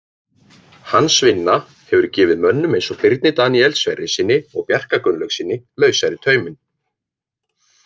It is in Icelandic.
Hans vinna hefur gefið mönnum eins og Birni Daníel Sverrissyni og Bjarka Gunnlaugssyni lausari tauminn.